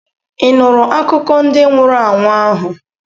Ị nụụrụ akụkọ ndị nwụrụ anwụ ahụ?